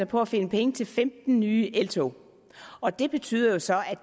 på at finde penge til femten nye eltog og det betyder jo så at